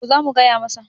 to za mu gaya masa